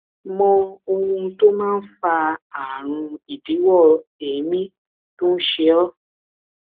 mọ ohun tó máa ń fa ààrùn idíwọ èémí tó ń ṣe ọ